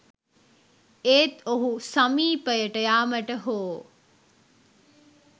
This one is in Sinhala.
ඒත් ඔහු සමීපයට යාමට හෝ